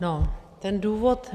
No, ten důvod.